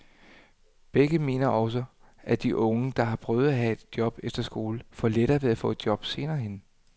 Begge mener også, at de unge, der har prøvet at have et job efter skole, får lettere ved at få et job senere hen.